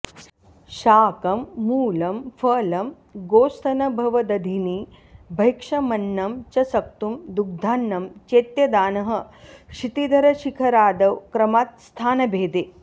शाकं मूलं फलं गोस्तनभवदधिनी भैक्षमन्नं च सक्तुं दुग्धान्नं चेत्यदानः क्षितिधरशिखरादौ क्रमात् स्थानभेदे